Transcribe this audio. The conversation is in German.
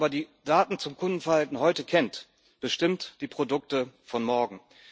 Wer aber die Daten zum Kundenverhalten heute kennt, bestimmt die Produkte von morgen.